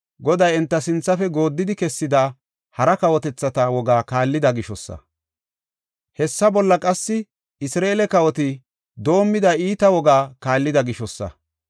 Goday enta sinthafe gooddidi kessida hara kawotethata wogaa kaallida gishosa. Hessa bolla qassi Isra7eele kawoti doomida iita wogaa kaallida gishosa.